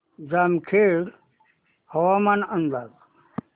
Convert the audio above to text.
जामखेड हवामान अंदाज